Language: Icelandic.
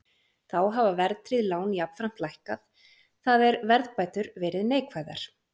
Þá hafa verðtryggð lán jafnframt lækkað, það er verðbætur verið neikvæðar.